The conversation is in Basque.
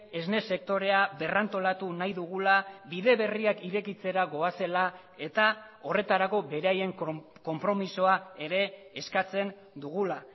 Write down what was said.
esnesektorea berrantolatu nahi dugula bide berriak irekitzera goazela eta horretarako beraien konpromisoa ere eskatzen dugula